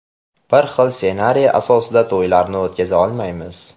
Bir xil ssenariy asosida to‘ylarni o‘tkaza olmaymiz.